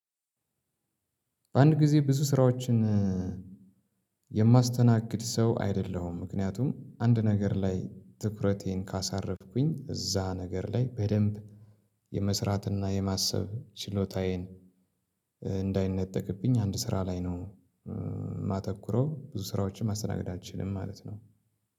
በአንድ ግዜ ብዙ ስራዎችን የማስተናግድ ሰው አይደለሁም። ምክንያቱም አንድ ነገር ላይ ትኩረቴን ካሳረፍኩኝ እዛ ነገር ላይ በደንብ የመስራትና የማሰብ ችሎታዬን እንዳይነጠቅብኝ አንድ ስራ ላይ ነው። ማተኩረው ብዙ ስራዎችን ማስተናገድ አልችልም ማለት ነው።